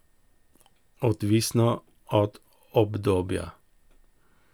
Odvisno od obdobja.